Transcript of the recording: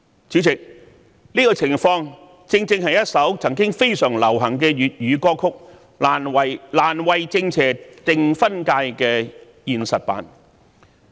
這種情況正是一首曾經非常流行的粵語歌曲"難為正邪定分界"的現實版。